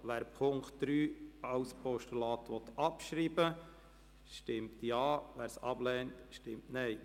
Wer Punkt 3 als Postulat abschreiben will, stimmt Ja, wer dies ablehnt, stimmt Nein.